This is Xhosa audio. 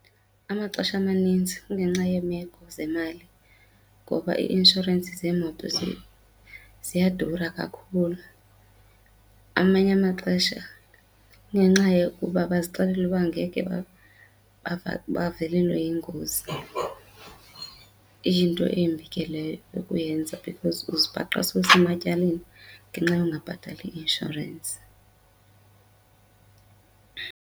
Amaxesha amaninzi kungenxa yeemeko zemali ngoba ii-inshorensi zeemoto ziyadura kakhulu. Amanye amaxesha kungenxa yokuba bazixelela uba ngeke bavelelwe yingozi. Iyinto embi ke leyo yokuyenza because uzibhaqa sowusematyaleni ngenxa yokungabhatali i-inshorensi.